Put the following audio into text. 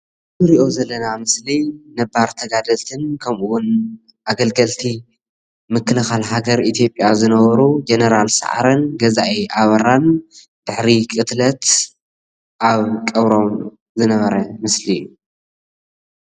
እዚ እንሪኦ ዘለና ምስሊ ነባር ተጋደልትን ከምኡ እውን ኣገልገልቲ ምክልኻል ሃገር አኢትዮጵያ ዝነበሩ ጀነራላት ሳዓረን ገዛኢ ኣባራን ድሕሪ ቅትለት ኣብ ቀብሮም ዝነበረ ምስሊ እዩ፡፡